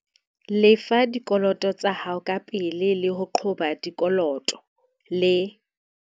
Lefa dikoloto tsa hao kapele le ho qoba dikoloto, le